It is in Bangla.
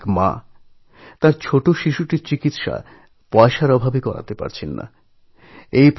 একজন সহায়সম্বলহীন মা তাঁর ছোট বাচ্চার চিকিৎসা করাতে পারছিলেন না